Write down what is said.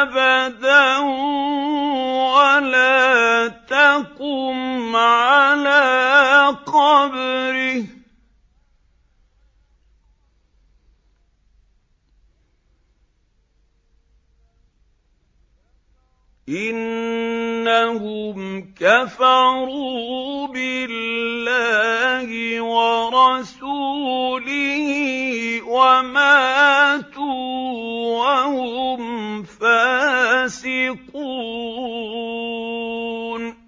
أَبَدًا وَلَا تَقُمْ عَلَىٰ قَبْرِهِ ۖ إِنَّهُمْ كَفَرُوا بِاللَّهِ وَرَسُولِهِ وَمَاتُوا وَهُمْ فَاسِقُونَ